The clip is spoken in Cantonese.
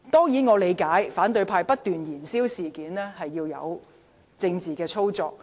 以我理解，反對派不斷燃燒事件，只是政治操作。